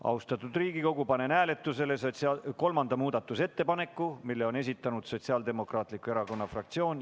Austatud Riigikogu, panen hääletusele kolmanda muudatusettepaneku, mille on esitanud Sotsiaaldemokraatliku Erakonna fraktsioon.